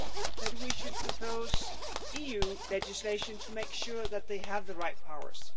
that we should propose EU legislation to make sure that they have the right powers.